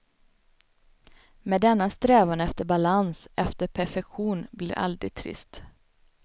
Men denna strävan efter balans, efter perfektion, blir aldrig trist.